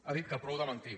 ha dit que prou de mentir